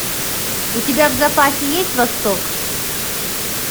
у тебя в запасе есть восток